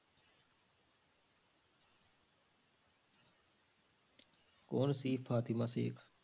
ਕੌਣ ਸੀ ਫ਼ਾਤਿਮਾ ਸੇਖ਼?